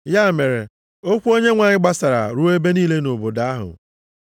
Ya mere okwu Onyenwe anyị gbasara ruo ebe niile nʼobodo ahụ.